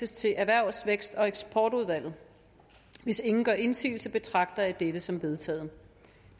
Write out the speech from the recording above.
til erhvervs vækst og eksportudvalget hvis ingen gør indsigelse betragter jeg dette som vedtaget